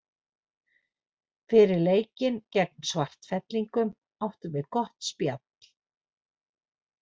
Fyrir leikinn gegn Svartfellingum áttum við gott spjall.